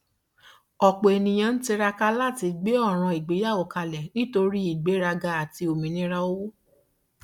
ọpọ ènìyàn ń tiraka láti gbé ọràn ìgbéyàwó kalẹ nítorí ìgbéraga àti òmìnira owó